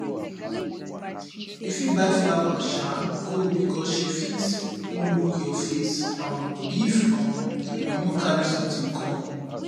you fit buy flower um go because she fit no look your face um if um you no carry something come